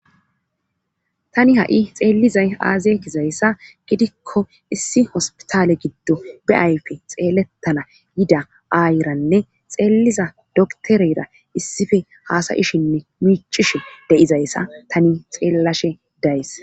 tani ha7i xeellizay aazeekizayssa gidikko issi hospitaale giddo beayfe xeelettana yida aayiranne xeeliza dokterera issife haasayishinne miichishe deizayssa tani xeellashe days